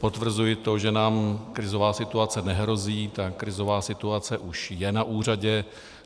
Potvrzuji to, že nám krizová situace nehrozí, ta krizová situace už je na úřadě.